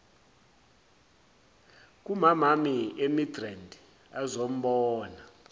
kumamami emidrand azombona